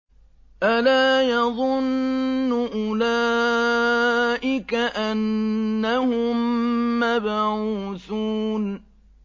أَلَا يَظُنُّ أُولَٰئِكَ أَنَّهُم مَّبْعُوثُونَ